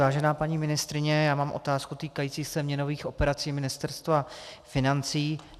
Vážená paní ministryně, já mám otázku týkající se měnových operací Ministerstva financí.